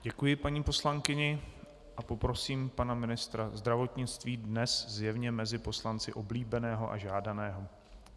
Děkuji paní poslankyni a poprosím pana ministra zdravotnictví, dnes zjevně mezi poslanci oblíbeného a žádaného.